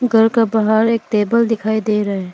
घर का बाहर एक टेबल दिखाई दे रहे है।